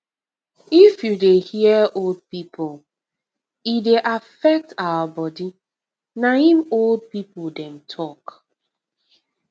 if u dey hear old people e dey affect our body na em old people dem talk